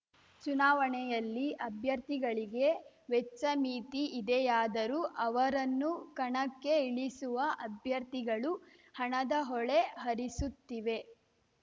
ಚುನಾವಣೆಯಲ್ಲಿ ಅಭ್ಯರ್ಥಿಗಳಿಗೆ ವೆಚ್ಚ ಮಿತಿ ಇದೆಯಾದರೂ ಅವರನ್ನು ಕಣಕ್ಕೆ ಇಳಿಸುವ ಅಭ್ಯರ್ಥಿಗಳು ಹಣದ ಹೊಳೆ ಹರಿಸುತ್ತಿವೆ